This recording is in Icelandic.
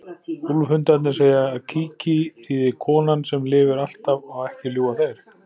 Úlfhundarnir segja að Kiki þýði konan sem lifir alltaf og ekki ljúga þeir.